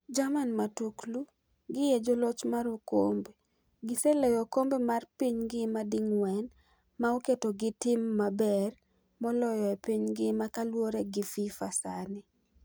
Jerman matuklu: Gi e joloch mar okombe , gi seloyo okombe mar piny ngima di ng'wen ma oketo gi tim ma ber moloyo e piny ngima kaluore gi FIFA sani.